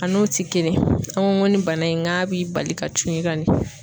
A n'o tɛ kelen an ko ni bana in k'a b'i bali ka cun i kan de